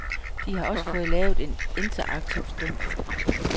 De har også fået lavet en interaktiv stump.